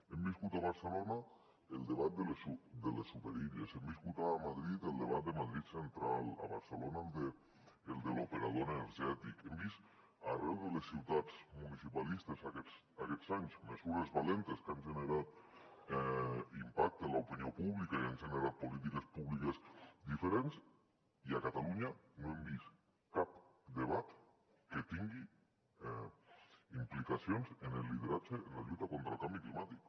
hem viscut a barcelona el debat de les superilles hem viscut a madrid el debat de madrid central a barcelona el de l’operador energètic hem vist arreu de les ciutats municipalistes aquests anys mesures valentes que han generat impacte en l’opinió pública i han generat polítiques públiques diferents i a catalunya no hem vist cap debat que tingui implicacions en el lideratge en la lluita contra el canvi climàtic